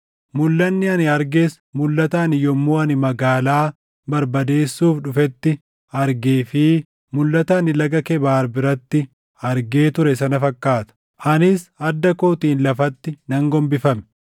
Mulʼanni ani arges mulʼata ani yommuu inni magaalaa barbadeesuuf dhufetti argee fi mulʼata ani Laga Kebaar biratti argee ture sana fakkaata; anis adda kootiin lafatti nan gombifame.